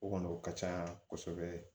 O kɔni o ka can kosɛbɛ